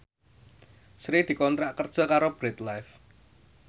Sri dikontrak kerja karo Bread Life